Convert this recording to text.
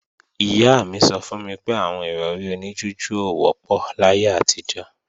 Ìyá mi sọ fún mi pé àwọn Ìrọ̀rí oní jújù ò wọ́pọ̀ láyé àtijọ́